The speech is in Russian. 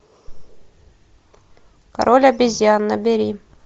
король обезьян набери